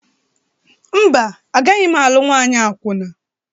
Mba, agaghị m alụ nwanyị akwụna.